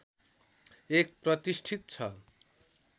एक प्रतिष्ठित छ